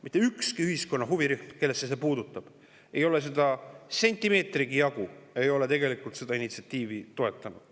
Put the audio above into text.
Mitte ükski ühiskonna huvirühm, kellesse see puutub, ei ole sentimeetrigi jagu seda initsiatiivi toetanud.